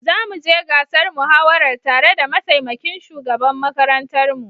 Zamu je gasar muhawarar tare da mataimakin shugaban makarantar mu.